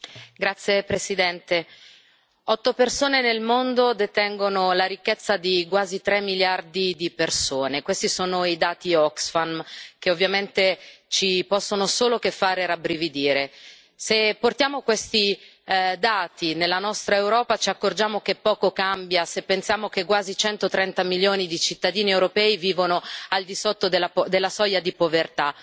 Signora Presidente, onorevoli colleghi, otto persone nel mondo detengono la ricchezza di quasi tre miliardi di persone. Questi sono i dati Oxfam, che ovviamente ci possono solo fare rabbrividire. Se portiamo questi dati nella nostra Europa, ci accorgiamo che poco cambia se pensiamo che quasi 130 milioni di cittadini europei vivono al di sotto della soglia di povertà.